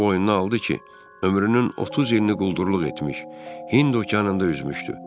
boynuna aldı ki, ömrünün 30 ilini quldurluq etmiş, Hind okeanında üzmüşdü.